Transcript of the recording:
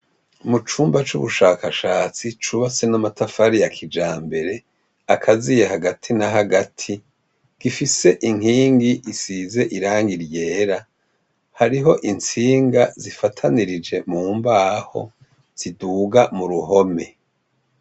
Mu cumba c'ubushakashatsi cubatse n'amatafari ya kijambere akaziye hagati na hagati gifise inkingi isize irangi ryera. Hariho intsinga zifatanirije mu mbaho ziduga mu ruhome.